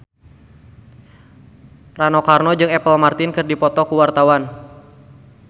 Rano Karno jeung Apple Martin keur dipoto ku wartawan